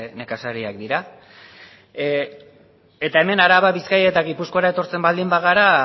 nekazariak dira eta hemen araba bizkaia eta gipuzkoara etortzen baldin bagara